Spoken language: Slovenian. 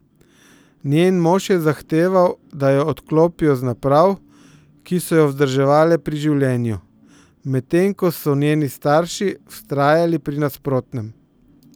Njen mož je zahteval, da jo odklopijo z naprav, ki so jo vzdrževale pri življenju, medtem ko so njeni starši vztrajali pri nasprotnem.